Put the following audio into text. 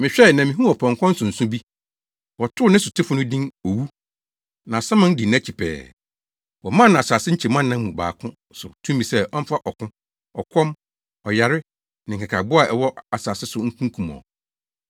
Mehwɛe, na mihuu ɔpɔnkɔ nsonso bi. Wɔtoo ne sotefo no din “Owu,” na Asaman di nʼakyi pɛɛ. Wɔmaa no asase nkyɛmu anan mu baako so tumi sɛ ɔmfa ɔko, ɔkɔm, ɔyare ne nkekaboa a wɔwɔ asase so nkunkum wɔn.